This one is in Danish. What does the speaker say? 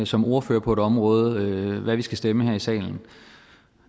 som ordfører på et område hvad vi skal stemme her i salen